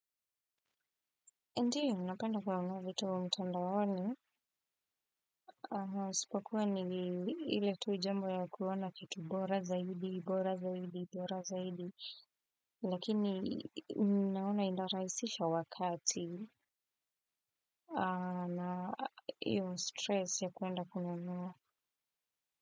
Ndiyo, napenda kunuanua vitu mtandaoni, isipokuwa ni ile tu jambo ya kuona kitu bora zaidi, bora zaidi, bora zaidi, lakini ninaona inarahisisha wakati na hiyo stress ya kuenda kununua.